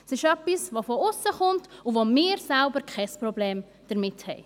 Das ist etwas, das von aussen kommt und womit wir selber keine Probleme haben.